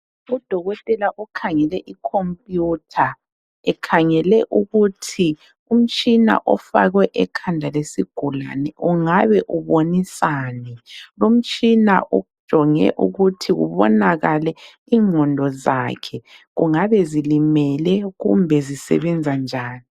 Udokotela okhangele ikhompuyutha ekhangele ukuthi umtshina ofakwe ekhanda lesigulane ungabe ubonisani, lomtshina ujonge ukuthi kubonakale ingqondo zakhe kungabe zilimele kumbe zisebenza njani.